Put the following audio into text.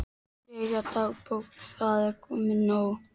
Jæja, dagbók, það er komin nótt.